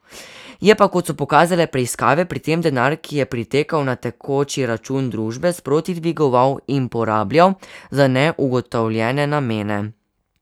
Je pa, kot so pokazale preiskave, pri tem denar, ki je pritekal na tekoči račun družbe, sproti dvigoval in porabljal za neugotovljene namene.